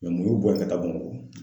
Mɛ mu y'u bɔ yen ka taa Bamakɔ ?